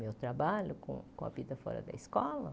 Meu trabalho com com a vida fora da escola?